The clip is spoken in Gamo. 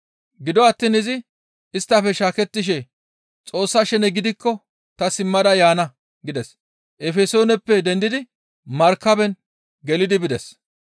Gido attiin izi isttafe shaakettishe, «Xoossa shene gidikko ta simmada yaana» gides; Efesooneppe dendidi markaben gelidi bides.